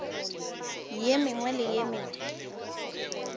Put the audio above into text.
ye mengwe le ye mengwe